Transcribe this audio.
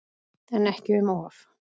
En ekki um of.